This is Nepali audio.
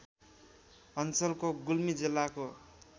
अञ्चलको गुल्मी जिल्लाको